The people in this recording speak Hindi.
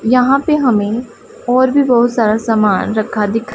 यहां पे हमें और भी बहुत सारा सामान रखा दि--